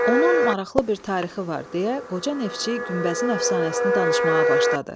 Onun maraqlı bir tarixi var deyə qoca neftçi günbəzin əfsanəsini danışmağa başladı.